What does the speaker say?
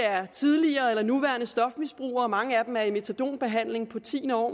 af tidligere eller nuværende stofmisbrugere mange af dem er måske i metadonbehandling på tiende år